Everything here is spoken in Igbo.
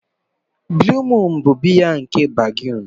Blue Moon bụ biya nke Belgium.